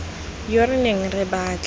yo re neng re batla